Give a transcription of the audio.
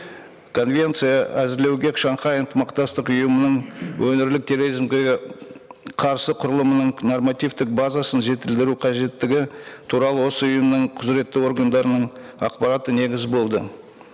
конвенция әзірлеуге шанхай ынтымақтастық ұйымының өңірлік терроризмге қарсы құрылымының нормативтік базасын жетілдіру қажеттігі туралы осы ұйымның құзыретті органдарының ақпараты негіз болды